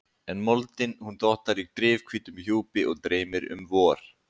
En moldin, hún dottar í drifhvítum hjúpi og dreymir um vor.